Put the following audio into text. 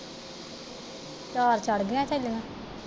ਚਾਰ ਚੜਗੀਆਂ ਸੀਗੀਆ।